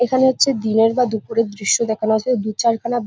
এখানে হচ্ছে দিনের বা দুপুরের দৃশ্য দেখানো হয়েছে দু চার খানা--